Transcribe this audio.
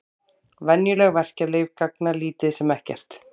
Venjuleg verkjalyf gagna lítið sem ekkert.